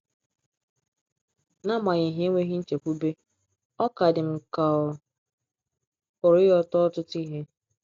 N’agbanyeghị enweghị nchekwube, ọ ka dị m ka ọ̀ pụrụ ịghọta ọtụtụ ihe.